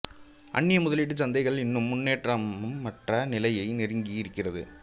அந்நிய முதலீட்டுச் சந்தைகள் இன்னும் முன்னேற்றமற்ற நிலையை நெருங்கியே இருக்கிறது